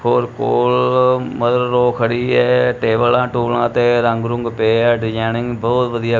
ਹੋਰ ਕੋਲ mother in law ਖੜੀ ਐ ਟੇਬਲਾਂ ਟੂਬਲਾਂ ਤੇ ਰੰਗ ਰੁੰਗ ਪਏ ਐ ਡਿਜਾਇਨਿੰਗ ਬਹੁਤ ਵਧੀਆ--